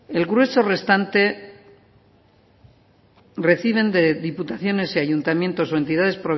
el grueso restante reciben de diputaciones y ayuntamientos o entidades